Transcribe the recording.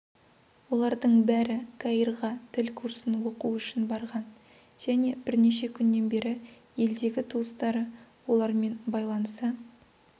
олардың бәрі каирға тіл курсын оқу үшін барған және бірнеше күннен бері елдегі туыстары олармен байланыса